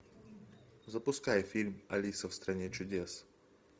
запускай фильм алиса в стране чудес